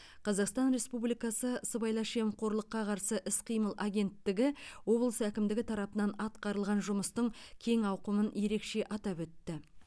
қазақстан республикасы сыбайлас жемқорлыққа қарсы іс қимыл агенттігі облыс әкімдігі тарапынан атқарылған жұмыстың кең ауқымын ерекше атап өтті